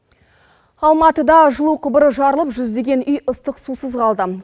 алматыда жылу құбыры жарылып жүздеген үй ыстық сусыз қалды